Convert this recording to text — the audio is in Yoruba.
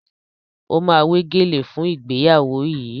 O ma wé gèlè fún ìgbéyàwó yìí